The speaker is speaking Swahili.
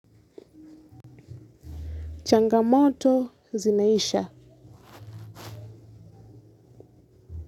Changamoto zinaisha.